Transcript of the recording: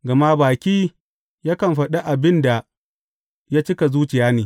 Gama baki yakan faɗa abin da ya cika zuciya ne.